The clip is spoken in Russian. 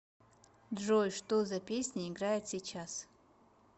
джой что за песня играет сейчас